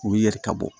U yɛrɛ ka bɔ